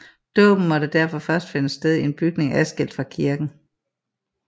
Dåben måtte derfor først finde sted i en bygning adskilt fra kirken